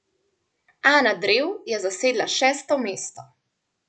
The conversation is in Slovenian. Ana Drev je zasedla šesto mesto.